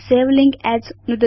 सवे link as नुदतु च